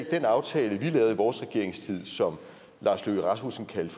den aftale vi lavede i vores regeringstid og som lars løkke rasmussen kaldte